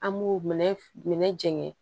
An b'u minɛ jɛngɛ